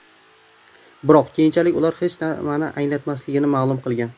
Biroq keyinchalik ular bu hech nimani anglatmasligini ma’lum qilgan.